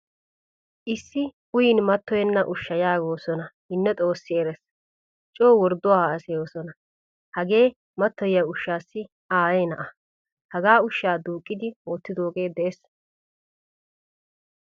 Issi uyin matoyena ushshaa yaagosona hino xoossi erees. Co wordduwaa haasayosona. Hagee matoyiyaa ushshasi aaye na'aa. Hagaa ushsha duuqqidi wottidoge de'ees.